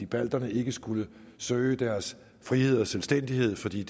balterne ikke skulle søge deres frihed og selvstændighed fordi